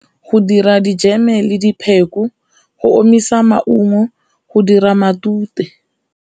Go dira dijeme le dipheko, go omisa maungo go dira matute.